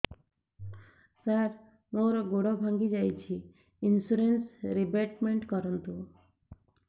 ସାର ମୋର ଗୋଡ ଭାଙ୍ଗି ଯାଇଛି ଇନ୍ସୁରେନ୍ସ ରିବେଟମେଣ୍ଟ କରୁନ୍ତୁ